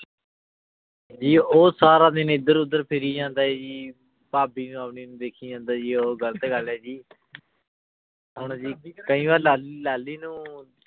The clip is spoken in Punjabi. ਜੀ ਊ ਸਾਰਾ ਦਿਨ ਏਡ੍ਰ ਉਦਰ ਫਿਰਿ ਜਾਂਦਾ ਆਯ ਜੀ ਭਾਭੀ ਨੂ ਆਪਣੀ ਨੂ ਦੇਖੀ ਜਾਂਦਾ ਆਯ ਜੀ ਊ ਗਲਤ ਗਲ ਆਯ ਜੀ ਹੁਣ ਜੀ ਕਈ ਵਾਰ ਲਾਲੀ ਲਾਲੀ ਨੂ